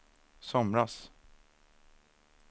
somras